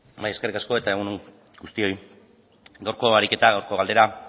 bai eskerrik asko eta egun on guztioi gaurko ariketa gaurko galdera